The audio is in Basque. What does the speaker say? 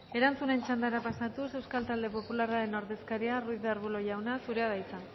erantzunen txandara pasatuz euskal talde popularraren ordezkaria ruiz de arbulo jauna zurea da hitza